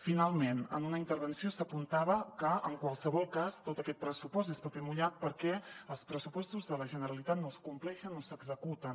finalment en una intervenció s’apuntava que en qualsevol cas tot aquest pressupost és paper mullat perquè els pressupostos de la generalitat no es compleixen no s’executen